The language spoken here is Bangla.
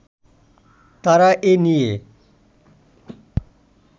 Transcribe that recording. তারা এ নিয়ে